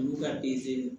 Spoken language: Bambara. Olu ka